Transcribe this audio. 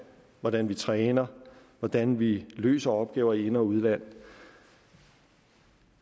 hvordan vi træner og hvordan vi løser opgaver i ind og udland